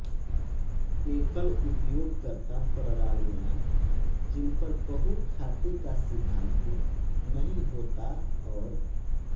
एकल उपयोगकर्ता प्रणालियाँ जिनपर बहु खाते का सिद्धांत नहीं होता और